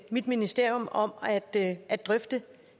mit ministerium om at at drøfte